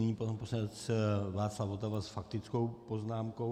Nyní pan poslanec Václav Votava s faktickou poznámkou.